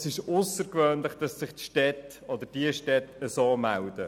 Es ist aussergewöhnlich, dass sich die Städte so melden.